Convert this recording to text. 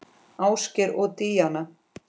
Ásgeir og Díana.